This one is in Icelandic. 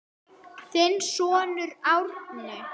Þinn sonur Árni.